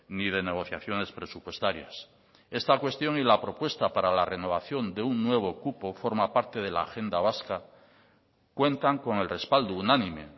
ni de negociaciones presupuestarias esta cuestión y la propuesta para la renovación de un nuevo cupo forma parte de la agenda vasca cuentan con el respaldo unánime